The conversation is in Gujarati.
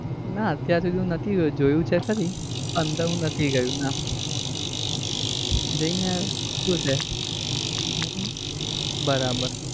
ના અત્યરે સુધી નથી ગયો જોયું છે ખરી અંદર હું નથી ગયો. ના જઈ ને આયા! શું છે? હમ બરાબર